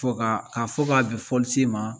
Fo ka k'a fɔ k'a bɛn fɔlisen ma